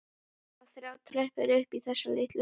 Það voru þrjár tröppur upp í þessa litlu holu.